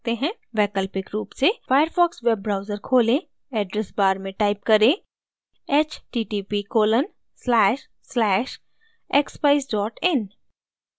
वैकल्पिक रुप से firefox web browser खोलें address bar में type करें: